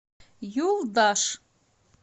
юлдаш